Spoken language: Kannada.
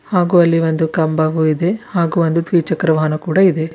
ಹಾಗು ಅಲ್ಲಿ ಒಂದು ಕಂಬವು ಇದೆ ಹಾಗು ಒಂದು ದ್ವಿಚಕ್ರ ವಾಹನ ಕೂಡ ಇದೆ.